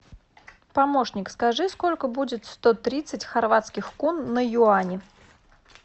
помощник скажи сколько будет сто тридцать хорватских кун на юани